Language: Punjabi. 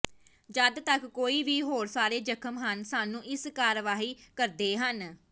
ਜਦ ਤੱਕ ਕੋਈ ਵੀ ਹੋਰ ਸਾਰੇ ਜ਼ਖਮ ਹਨ ਸਾਨੂੰ ਇਸ ਕਾਰਵਾਈ ਕਰਦੇ ਹਨ